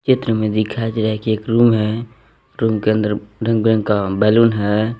चित्र में दिखाई गया है कि एक रूम है रूम के अंदर रंग बिरंग का बैलून है।